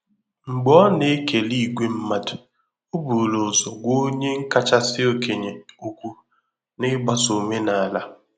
Mgbe ọ na-ekele ìgwè mmadụ, o buru ụzọ gwa onye kachasị okenye okwu, n'igbaso omenala.